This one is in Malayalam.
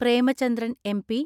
പ്രേമചന്ദ്രൻ എം.പി.